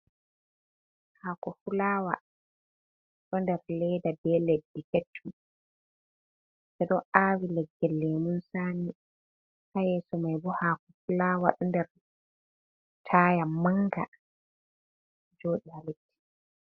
Haako fulawa ɗo nder leeda be leddi keccum. Ɓe ɗo aawi leggel lemun tsami. Haa yeeso mai bo, haako fulawa ɗo nder taya manga, joɗi haa leddi.